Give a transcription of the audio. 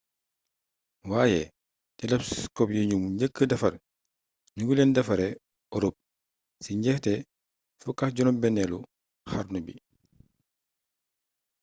waaye telescope yi ñu njëkka defar ñu ngi leen defaree europe ci njeexte 16eelu xarnu bi